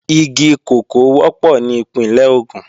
Igi kòkó wọ́pọ̀ ní Ìpínlẹ̀ Ògùn